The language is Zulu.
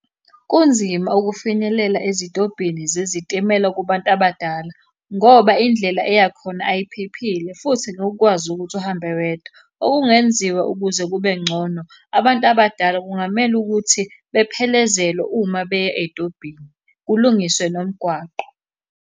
Kunzima ukufinyelela ezitobhini zezitimela kubantu abadala, ngoba indlela eya khona ayiphephile, futhi ngeke ukwazi ukuthi uhambe wedwa. Okungenziwa ukuze kube ngcono, abantu abadala kungamele ukuthi bephelezelwe uma beya ey'tobhini, kulungiswe nomgwaqo.